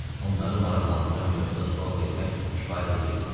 Onları maraqlandıran mövzuda sual vermək kifayət eləyirdi.